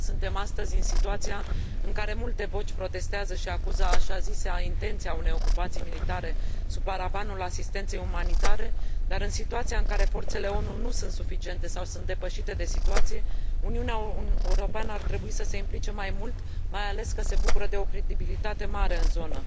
Sigur, suntem astăzi în situația în care multe voci protestează și acuză așa zisa intenție a unei ocupații militare sub paravanul asistenței umanitare, dar, în situația în care forțele ONU nu sunt suficiente sau sunt depășite de situație, Uniunea Europeană ar trebui să se implice mai mult, mai ales că se bucură de o credibilitate mare în zonă.